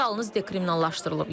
O yalnız dekriminallaşdırılıb.